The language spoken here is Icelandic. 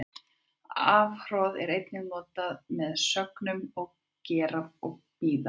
Afhroð er einnig notað með sögnunum gera og bíða.